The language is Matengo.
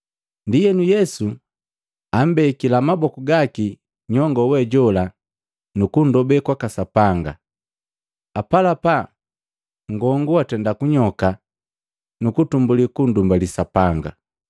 Ndienu Yesu ambekila maboku gaki nyongo we jola nukundobe kwaka Sapanga, apalapa nngongu watenda kunyoka nuku tumbuli kundumbali Sapanga.